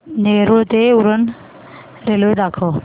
नेरूळ ते उरण रेल्वे दाखव